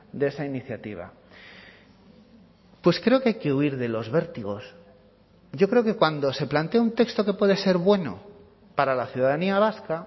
de esa iniciativa pues creo que hay que huir de los vértigos yo creo que cuando se plantea un texto que puede ser bueno para la ciudadanía vasca